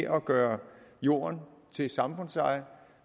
at gøre jorden til samfundseje